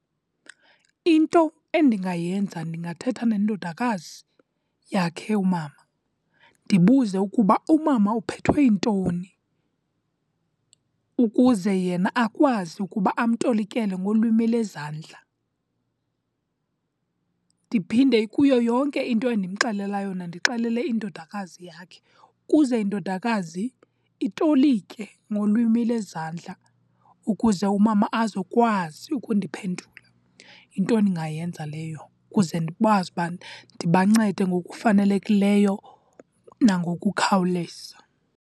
Into endingayenza ndingathetha nendodakazi yakhe umama, ndibuze ukuba umama uphethwe yintoni ukuze yena akwazi ukuba amtolikele ngolwimi lwezandla. Ndiphinde ikuyo yonke into endimxelela yona, ndixelele indodakazi yakhe ukuze indodakazi itolike ngolwimi lwezandla ukuze umama azokwazi ukundiphendula. Yinto endingayenza leyo kuze ndikwazi ubana ndibancede ngokufanelekileyo nangokukhawuleza.